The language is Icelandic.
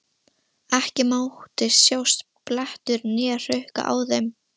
Ekki mátti sjást blettur né hrukka á þeim.